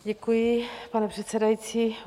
Děkuji, pane předsedající.